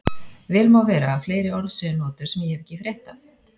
Vel má vera að fleiri orð séu notuð sem ég hef ekki frétt af.